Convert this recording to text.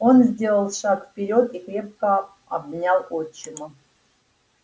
он сделал шаг вперёд и крепко обнял отчима